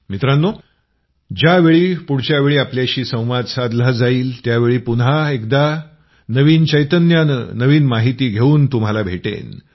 मित्रांनो ज्यावेळी पुढच्यावेळी आपल्याशी संवाद साधला जाईल त्यावेळी पुन्हा एकदा नवीन चैतन्यानं नवीन माहिती घेवून तुम्हाला भेटेन